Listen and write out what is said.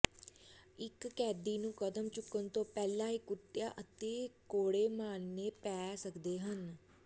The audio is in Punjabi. ਇਕ ਕੈਦੀ ਨੂੰ ਕਦਮ ਚੁੱਕਣ ਤੋਂ ਪਹਿਲਾਂ ਹੀ ਕੁੱਟਿਆ ਅਤੇ ਕੋਰੜੇ ਮਾਰਨੇ ਪੈ ਸਕਦੇ ਹਨ